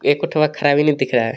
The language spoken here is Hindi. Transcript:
खराब ही नही दिख रहा हैं.